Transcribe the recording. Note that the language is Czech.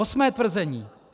Osmé tvrzení.